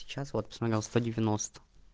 сейчас вот посмотрел сто девяносто